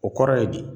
O kɔrɔ ye bi